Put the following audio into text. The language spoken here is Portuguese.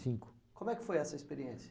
cinco. Como é que foi essa experiência?